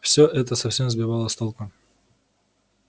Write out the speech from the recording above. всё это совсем сбивало с толку